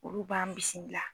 Olu b'an bisimila.